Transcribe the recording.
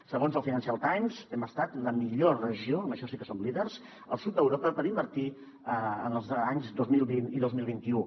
segons el financial times hem estat la millor regió en això sí que som líders al sud d’europa per invertir els anys dos mil vint i dos mil vint u